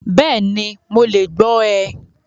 Bẹ́ẹ̀ni, Mo le gbọ rẹ̀